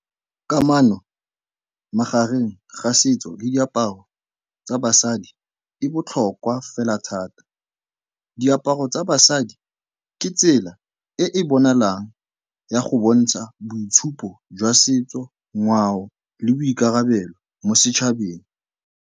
Kamano magareng ga setso le diaparo tsa basadi e botlhokwa fela thata. Diaparo tsa basadi ke tsela e e bonalang ya go bontsha boitshupo jwa setso, ngwao le boikarabelo mo setšhabeng.